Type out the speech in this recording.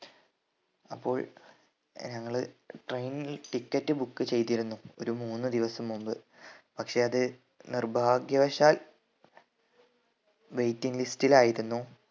അപ്പോൾ ഏർ ഞങ്ങള് train നിൽ ticket book ചെയ്‌തിരുന്നു ഒരു മൂന്ന് ദിവസം മുമ്പ് പക്ഷെ അത് നിർഭാഗ്യവശാൽ waiting list ൽ ആയിരുന്നു